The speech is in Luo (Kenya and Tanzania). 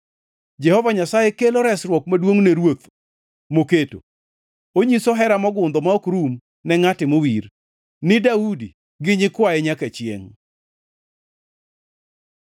Jehova Nyasaye kelo resruok maduongʼ ne ruoth moketo, onyiso hera mogundho ma ok rum ne ngʼate mowir, ni Daudi gi nyikwaye nyaka chiengʼ.